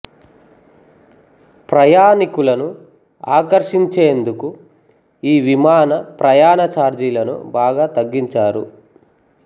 ప్రయాణికులను ఆకర్షించేందుకు ఈ విమాన ప్రయాణ ఛార్జీలను బాగా తగ్గించారు